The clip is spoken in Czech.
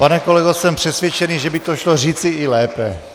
Pane kolego, jsem přesvědčený, že by to šlo říci i lépe.